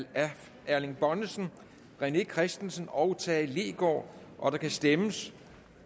erling bonnesen rené christensen og tage leegaard og der kan stemmes